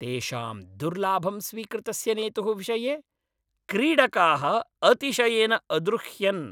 तेषां दुर्लाभं स्वीकृतस्य नेतुः विषये क्रीडकाः अतिशयेन अद्रुह्यन्।